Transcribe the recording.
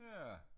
Ja